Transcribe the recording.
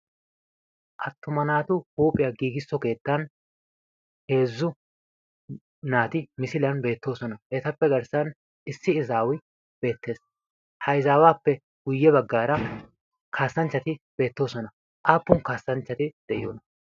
Attuma naatu huuphiyan giigisso keettan heezzu naati misiliyan beettoosona. Etappe garssan issi izaawi beettees. Ha izaawaappe hara kaassanchchati beettoosona. Aappun kaassanchchati de',iyoonaa?